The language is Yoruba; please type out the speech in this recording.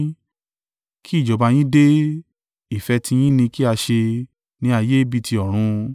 kí ìjọba yín dé, ìfẹ́ tiyín ni kí a ṣe ní ayé bí ti ọ̀run.